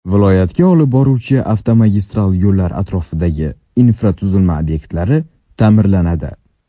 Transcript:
Viloyatga olib boruvchi avtomagistral yo‘llar atrofidagi infratuzilma obyektlari ta’mirlanadi.